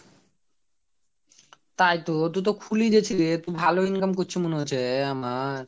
তাই তো তুই তো খুলেই যাচ্ছিস রে তুই ভালো income করচু মনে হচ্চে আমার।